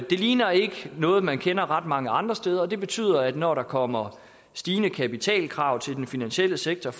det ligner ikke noget man kender fra mange andre steder og det betyder at når der kommer stigende kapitalkrav til den finansielle sektor